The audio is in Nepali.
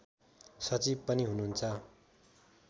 सचिव पनि हुनुहुन्छ